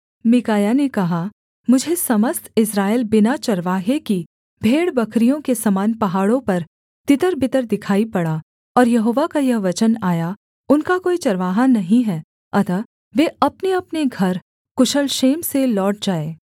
मीकायाह ने कहा मुझे समस्त इस्राएल बिना चरवाहे की भेड़बकरियों के समान पहाड़ों पर तितर बितर दिखाई पड़ा और यहोवा का यह वचन आया उनका कोई चरवाहा नहीं हैं अतः वे अपनेअपने घर कुशल क्षेम से लौट जाएँ